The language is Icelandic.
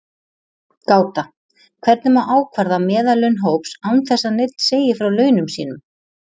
Gáta: Hvernig má ákvarða meðallaun hóps án þess að neinn segi frá launum sínum?